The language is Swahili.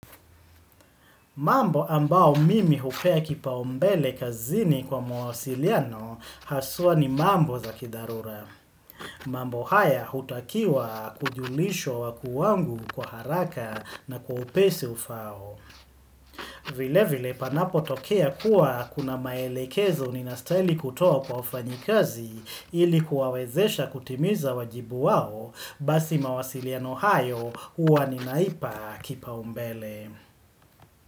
Mambo ambao mimi hupea kipa umbele kazini kwa mawasiliano haswa ni mambo za kidharura. Mambo haya hutakiwa kujulishwa wakuu wangu kwa haraka na kwa upesi ufao. Vile vile panapo tokea kuwa kuna maelekezo ninastaili kutoa kwa ufanyikazi ilikuwawezesha kutimiza wajibu wao basi mawasiliano hayo uwa ninaipa kipa umbele.